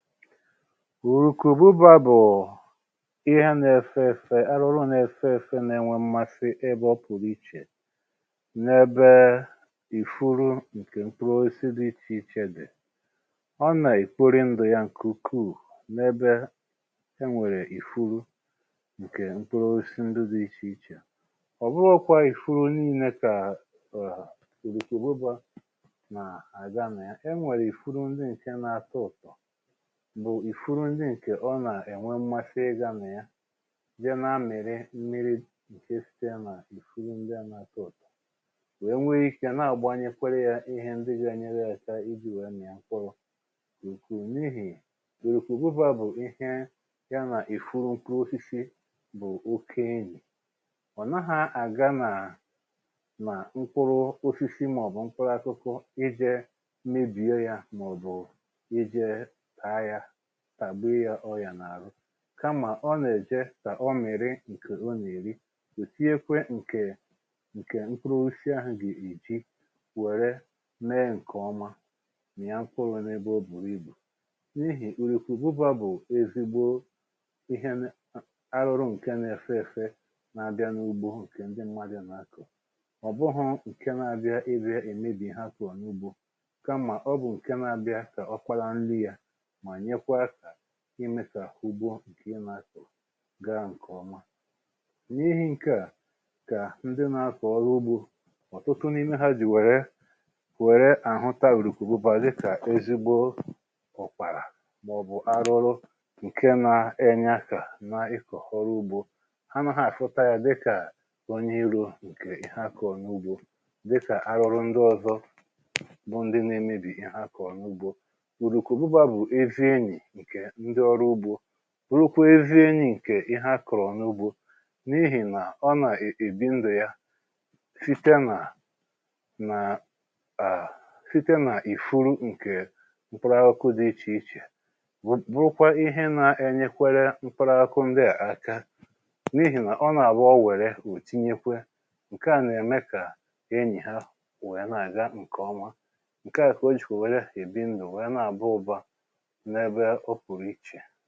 Orùkù-ụbụba bụ̀ ihe anȧ-ėfė ėfė arụrụ na-ėfe ėfe nà-ènwe mmasị ebe ọ̀ pụ̀rụ̀ ichè n’ebe ifuru ǹkè mkpụrụ oisi dị ichè ichè dị̀. Ọ nà egbori ndụ̀ ya ǹke-ukwuu n’ebe e nwèrè ìfuru ǹkè mkpụrụ osi ndụ dị̇ ichè ichè. Ọbụrụkwa ìfuru n’ine kà {ọọ} ìrùkù-ụbụba nà-àga nà ya. E nwèrè ìfuru ndị ǹkè na-atọ ụ̀tọ, bụ ifuru ndị̇ nke nọ̀ nà-ènwe mmasị ịgȧ nà ya je na-àmịrị mmiri̇ ǹke site nà ìfuru ndi à nà- atọ ụ̀tọ wee nwee ikė nà àgbanyekwere yȧ ihẹ ndi ga-anyere ya aka iji̇ wèe mị̀à ǹkpụrụ n’ihì ìrùkù-ụbụba bụ̀ ihẹ ya nà ìfuru nke osisi bụ̀ oke enyì. Ọ nahà àga nà ma nkpụrụ osisi ma-ọbụ nkpụrụ akụkụ ije mebie ya ma-ọbụ ije taa ya tagbii ya orịa n’ahụ kamà ọ nà-èje kà ọ mìrì ǹkè ọ nà-èri ò tinyekwe ǹkè ǹkè nkpụrụ osisi ahụ̀ ge eji wère mee ǹkè ọma mìà nkpụrụ n’ebe oburu ibu. N’ihì urùkù-ụbụba bụ̀ ezigbo ihe n arụrụ ǹke na-èfè èfe n’abịa n’ugbo ǹkè ndi mmadụ n’akọ̀. Ọ bụhụ̇ ǹke na-abịa ịbịa èmebì ha kọ̀ọ n’ugbȯ kama ọ bụ nke n’abia ka ọkpala nri ya ma nyekwa aka imė kà ugbo ǹkè ị nà-akọ̀ gaa ǹkè ọma. N’ihi ǹkè a kà ndị nà-akọ̀ ọrụ ugbȯ ọ̀tụtụ n’ime ha jì wère wère àhụta urùkù-ụbụba dịkà ezigbo ọ̀kpàrà mà ọ̀bụ̀ arụrụ ǹke nȧ-ènye akȧ na ịkọ̀ ọrụ ugbȯ. Ha nà ha àfụta ya dịkà onye i̇rȯ ǹkè ihe akọ̀ n’ugbȯ dịkà arụrụ ndị ọ̀zọ bụ ndị na-emebì ihe akọ̀ n’ugbȯ. Urùkù-ụbụba bụ ezi enyi nke ndị ọrụ ugbȯ bụkwa ezi enyi ǹkè ihe akụrụ̀ n’ugbȯ n’ihì nà ọ nà e èbi ndù ya site nà nà {à} site nà ìfuru ǹkè m̀kpụrụ akụkụ dị ichè ichè bụ bụkwa ihe na-enyekwere m̀kpụrụ akụkụ ndị à aka n’ihì nà ọ nà-àbụ ọ wère ò tinyekwe. Nke à nà-ème kà enyì ha wee nà-àga ǹkè ọma. Nke à kà o jì kwe wère èbi ndù wee nà àbụ ụbȧ ǹ’ebè ọpụrụ ichè